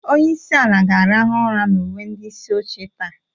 Onye isi ala ga-arahụ ụra na uwe ndị isi oche taa.